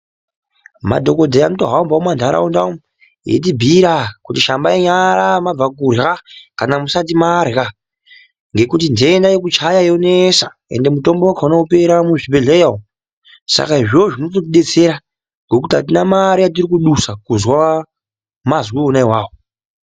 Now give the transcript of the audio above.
Madhokodheya anotohamba mumanharaunda umu echitibhiira kuti shambai nyara mabva kurya kana kuti shambai nyara musati marya ngekuti nhenda yekuchaya yanesa ende mutombo wakhona wopera muzvibhedhlera umwo. Saka izvozvo zvinototidetsera ngekuti apana mare yatiri kudusa kuzwa mazwi ona awawo.